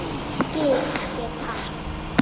Gil hét hann.